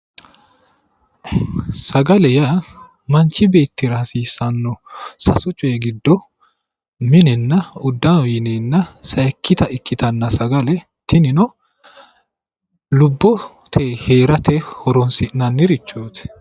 Sagale yaa manchu beettira hasiissanno sasu coyi giddo minenna uddano yineenna sayikkita ikkitanna sagale tinino lubboteyi heerate horoonsi'nannirichooti